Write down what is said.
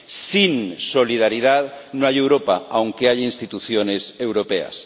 Sin solidaridad no hay Europa, aunque haya instituciones europeas.